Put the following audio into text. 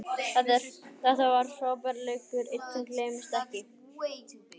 Þetta var frábær leikur, einn sem gleymist ekki.